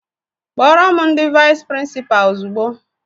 Kpọrọ m ndị vais prinsipa ozigbo!!!